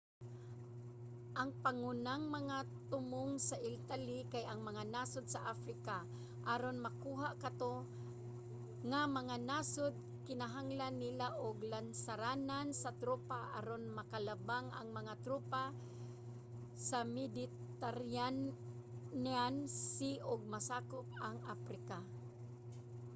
ang pangunang mga tumong sa italy kay ang mga nasod sa africa. aron makuha kato nga mga nasod kinahanglan nila og lansaranan sa tropa aron makalabang ang mga tropa sa mediterranean sea ug masakop ang africa